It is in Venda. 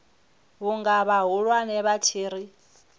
vhunga vhahulwane vha tshi ri